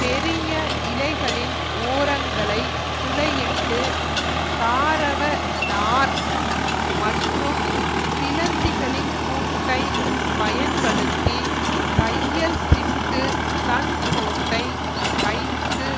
பெரிய இலைகளின் ஓரங்களை துளையிட்டு தாரவ நார் மற்றும் சிலந்திகளின் கூட்டை பயன்படுத்தி தையல்சிட்டு தன் கூட்டை தைத்து